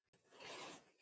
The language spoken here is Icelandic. Alltaf sjálfum sér líkur.